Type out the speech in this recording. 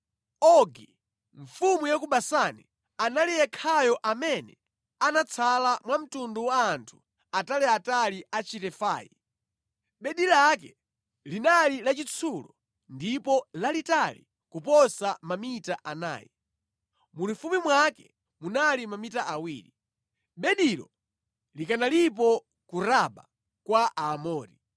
(Ogi, mfumu ya ku Basani, anali yekhayo amene anatsala mwa mtundu wa anthu ataliatali a Chirefai. Bedi lake linali lachitsulo ndipo lalitali kuposa mamita anayi. Mulifupi mwake munali mamita awiri. Bedilo likanalipo ku Raba kwa Aamori).